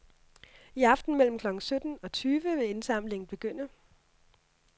I aften mellem klokken sytten og tyve vil indsamlingen begynde.